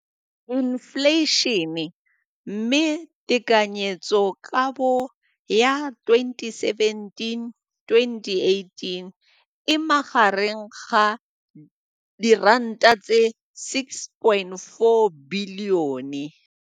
Infleišene, mme tekanyetsokabo ya 2017-2018 e magareng ga R6.4 bilione.